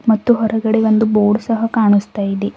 ಮತ್ತು ಹೊರಗಡೆ ಬಂದು ಬೋರ್ಡ್ ಸಹ ಕಾಣಿಸ್ತಾ ಇದೆ.